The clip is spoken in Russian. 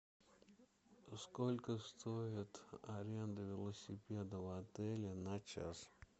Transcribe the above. сколько стоит аренда велосипеда в отеле на час